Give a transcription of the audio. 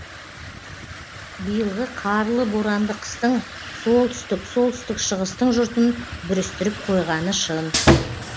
биылғы қарлы боранды қыстың солтүстік солтүстік шығыстың жұртын бүрістіріп қойғаны шын